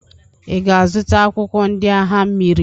Ị ga-azụta akwụkwọ ndị agha mmiri?